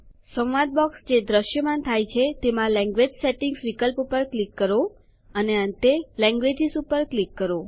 dialog box જે દ્રશ્યમાન થાય છે તેમાં લેન્ગ્વેજ સેટિંગ્સ વિકલ્પ પર ક્લિક કરો અને અંતે લેન્ગ્વેજીસ પર ક્લિક કરો